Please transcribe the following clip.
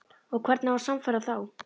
Og hvernig á að sannfæra þá?